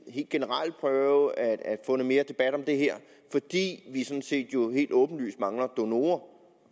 helt generelt prøve at få noget mere debat om det her fordi vi sådan set jo helt åbenlyst mangler donorer